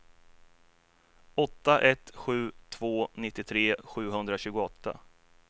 åtta ett sju två nittiotre sjuhundratjugoåtta